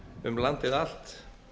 um landið allt